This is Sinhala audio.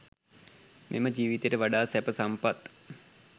මෙම ජීවිතයට වඩා සැප සම්පත්